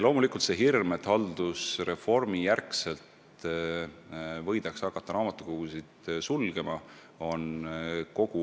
Loomulikult on kogu aeg olnud hirm, et pärast haldusreformi võidakse hakata raamatukogusid sulgema.